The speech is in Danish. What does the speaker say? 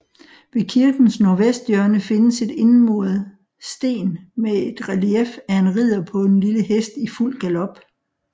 Ved kirkens nordvesthjørne findes et indmuret sten med et relief af en ridder på en lille hest i fuld galop